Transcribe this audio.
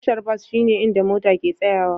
Tashar bas shine inda mota ke tsayawa.